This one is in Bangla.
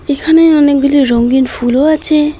এখানে অনেকগুলি রঙ্গিন ফুলও আছে।